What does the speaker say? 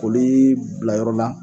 kolii bila yɔrɔ la